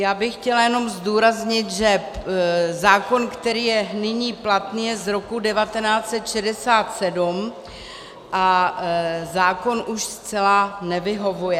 Já bych chtěla jenom zdůraznit, že zákon, který je nyní platný, je z roku 1967 a zákon už zcela nevyhovuje.